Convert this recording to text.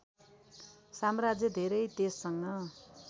साम्राज्य धेरै तेजसँग